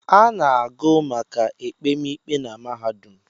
A na-agụ maka ekpemikpe na mahadụm